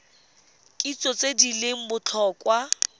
kitso tse di leng botlhokwa